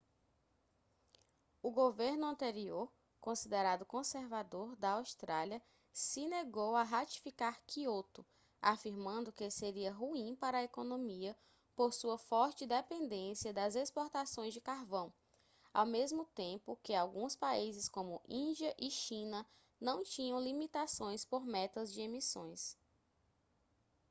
o governo anterior considerado conservador da austrália se negou a ratificar kyoto afirmando que seria ruim para a economia por sua forte dependência das exportações de carvão ao mesmo tempo que alguns países como índia e china não tinham limitações por metas de emissões